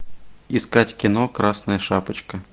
искать кино красная шапочка